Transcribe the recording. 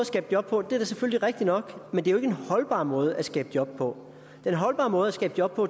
skabe job på det er da selvfølgelig rigtigt nok men det er jo ikke en holdbar måde at skabe job på den holdbare måde at skabe job på